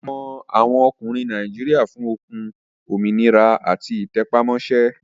A mọ àwọn ọkùnrin Nàìjíríà fún okun, òmìnira àti ìtẹpámọ́ṣẹ́